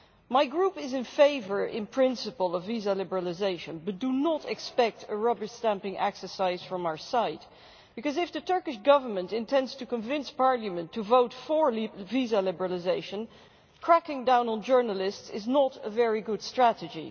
My Group is in favour in principle of visa liberalisation, but do not expect a rubber stamping exercise from our side, because if the Turkish Government intends to convince Parliament to vote for visa liberalisation, cracking down on journalists is not a very good strategy.